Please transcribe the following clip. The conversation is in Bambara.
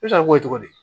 E sara ko cogo di